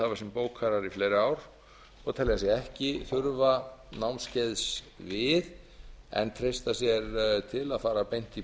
bókarar í fleiri ár og telja sig ekki þurfa námskeiðs við en treysta sér til að fara beint í